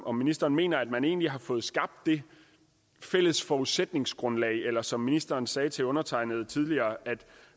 om ministeren mener at man egentlig har fået skabt det fælles forudsætningsgrundlag eller som ministeren sagde til undertegnede tidligere at